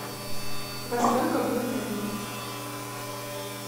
во сколько будет обед